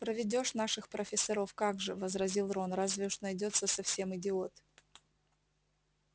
проведёшь наших профессоров как же возразил рон разве уж найдётся совсем идиот